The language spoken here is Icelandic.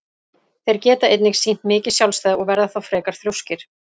Þeir geta einnig sýnt mikið sjálfstæði og verða þá frekar þrjóskir.